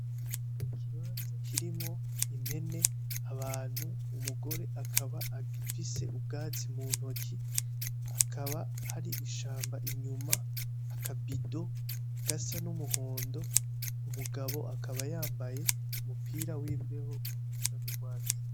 Ikibanza kirimwo impene, abantu. Umugore akaba afise ubwatsi mu ntoki. Hakaba hari ishamba inyuma, akabido gasa n'umuhondo. Umugabo akaba yambaye umupira w'imbeho usa n'urwatsi.